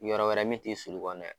Yɔrɔ wɛrɛ min t'i sulu kɔnɔna ye